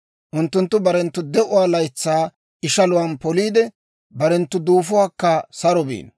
Unttunttu barenttu de'uwaa laytsaa ishaluwaan poliide, barenttu duufuwaakka saro biino.